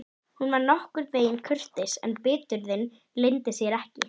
Gönguskór! sagði Arnar hvellt og gleðin skók líkama hans.